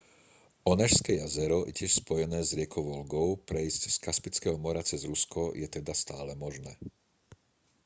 onežské jazero je tiež spojené s riekou volgou prejsť z kaspického mora cez rusko je teda stále možné